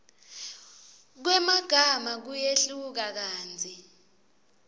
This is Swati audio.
kwemagama kuyehluka kantsi